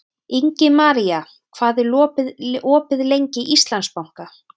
Ingimaría, hvað er opið lengi í Íslandsbanka?